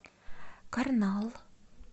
карнал